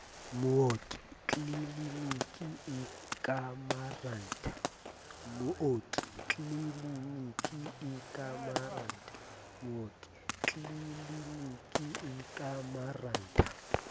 mooki tliliniking e ka marantha